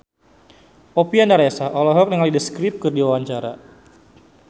Oppie Andaresta olohok ningali The Script keur diwawancara